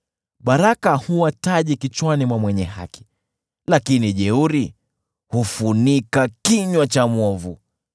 Baraka huwa taji kichwani mwa mwenye haki, lakini jeuri hufunika kinywa cha mwovu.